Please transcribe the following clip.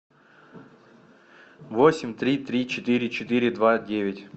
восемь три три четыре четыре два девять